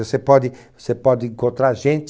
Você pode você pode encontrar gente